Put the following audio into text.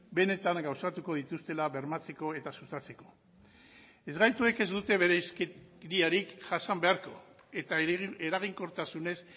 benetan gauzatuko dituztela bermatzeko eta sustatzeko ezgaituek ez dute bereizkeriarik jasan beharko eta eraginkortasunez